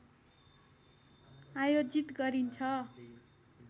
आयोजित गरिन्छ